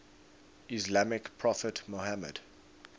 islamic prophet muhammad